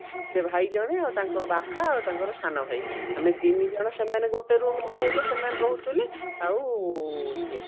ସେ ଭାଇ ଜଣେ ଆଉ ତାଙ୍କ ବାପା ଆଉ ତାଙ୍କର ସାନ ଭାଇ ମାନେ ତିନିଜଣ ସେମାନେ ଗୋଟେ room ରେ ରହିଲେ ସେମାନେ ରହୁଥିଲେ ଆଉ ଇଏ